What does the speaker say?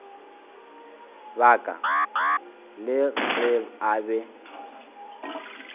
baka la ge a be